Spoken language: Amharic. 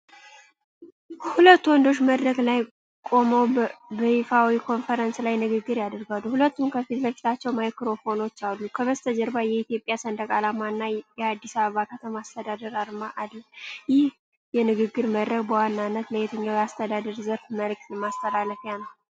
ሁለት ወንዶች በመድረክ ላይ ቆመው በይፋዊ ኮንፈረንስ ላይ ንግግር ያደርጋሉ። ሁለቱም ከፊት ለፊታቸው ማይክሮፎኖች አሉ። ከበስተጀርባ የኢትዮጵያ ሰንደቅ ዓላማና የአዲስ አበባ ከተማ አስተዳደር አርማ አለ። ይህ የንግግር መድረክ በዋናነት ለየትኛው የአስተዳደር ዘርፍ መልዕክት ማስተላለፊያ ነው?